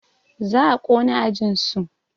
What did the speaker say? Za a ƙona ajinsu